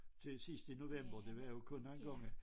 Til sidst i november det var jo kun gange